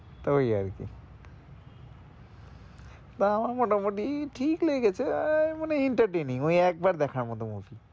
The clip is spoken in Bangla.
তো ওই আর কি তা আমার মোটা মোটি ঠিক লেগেছ আহ মানে entertaining ওই একবার দেখার মতো movie